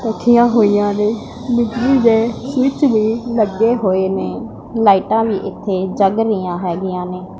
ਰੱਖੀਆਂ ਹੋਈਆਂ ਨੇ ਬਿਜਲੀ ਦੇ ਸਵਿੱਚ ਵੀ ਲੱਗੇ ਹੋਏ ਨੇ ਲਾਈਟਾਂ ਵੀ ਇੱਥੇ ਜਗ ਰਹੀਆਂ ਹੈਗੀਆਂ ਨੇ।